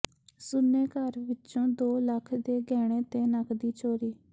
ਸੁੰਨੇ ਘਰ ਵਿੱਚੋਂ ਦੋ ਲੱਖ ਦੇ ਗਹਿਣੇ ਤੇ ਨਕਦੀ ਚੋਰੀ